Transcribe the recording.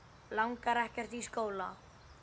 Langar ekkert í skóla.